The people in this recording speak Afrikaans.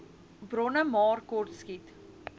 bronne maar kortskiet